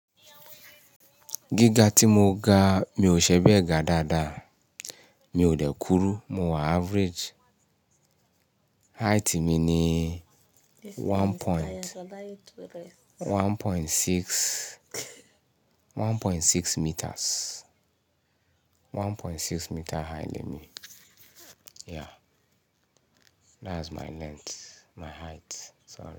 Gíga tí mo ga, mi ò ṣẹ̀be gà dáadáa, mi ò dẹ́ kúrú, mo wà average. Height mi ni one point, one point six, one point six meters, one point six meter height ni mí. Yeah, that's my length, my height. So.